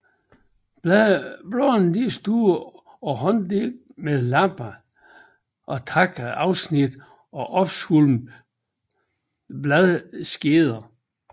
Bladene er store og hånddelte med lappede eller tandede afsnit og opsvulmede bladskeder